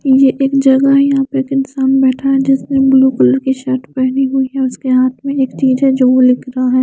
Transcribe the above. ये एक जगह है जहां पे एक इंसान बैठा हुआ है जिसने ब्लू कलर की शर्ट पहनी हुई है इसके हाथ में एक चीज हैं जो --